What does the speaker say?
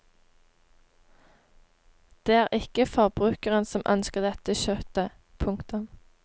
Det er ikke forbrukeren som ønsker dette kjøttet. punktum